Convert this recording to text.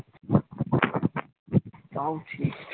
তাও ঠিক